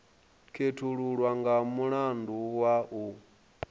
khethululwa nga mulandu wa u